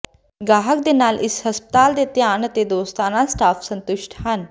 ਗਾਹਕ ਦੇ ਨਾਲ ਇਸ ਹਸਪਤਾਲ ਦੇ ਧਿਆਨ ਅਤੇ ਦੋਸਤਾਨਾ ਸਟਾਫ ਸੰਤੁਸ਼ਟ ਹਨ